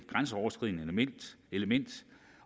grænseoverskridende element